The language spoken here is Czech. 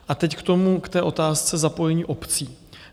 A teď k tomu, k té otázce zapojení obcí.